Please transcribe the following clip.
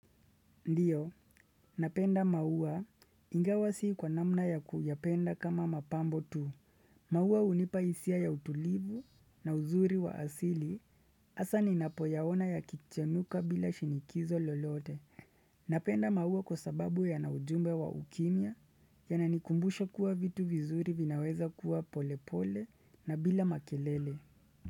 Ndiyo, napenda maua ingawa sii kwa namna ya kuyapenda kama mapambo tu. Maua hunipa hisia ya utulivu na uzuri wa asili hasa ninapoyaona yakichenuka bila shinikizo lolote. Napenda maua kwa sababu yana ujumbe wa ukimya yananikumbusha kuwa vitu vizuri vinaweza kuwa polepole na bila makelele.